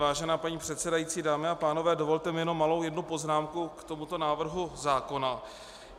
Vážená paní předsedající, dámy a pánové, dovolte mi jenom jednu malou poznámku k tomuto návrhu zákona.